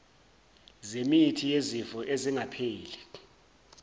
zemithi yezifo ezingapheli